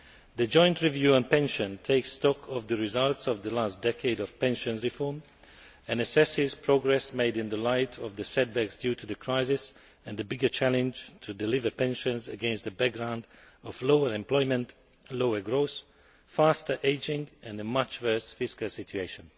The Joint Review on Pensions takes stock of the results of the last decade of pension reform and assesses progress made in the light of the setbacks due to the crisis and the bigger challenge to deliver pensions against a background of lower employment, lower growth, faster ageing and a much worse fiscal situation.